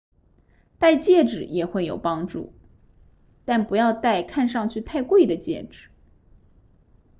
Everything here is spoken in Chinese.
戴戒指也会有帮助但不要戴看上去太贵的戒指